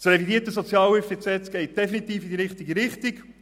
Das revidierte SHG geht definitiv in die richtige Richtung.